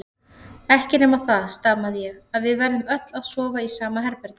Ekki nema það, stamaði ég, að við verðum öll að sofa í sama herbergi.